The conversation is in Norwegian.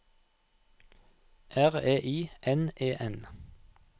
R E I N E N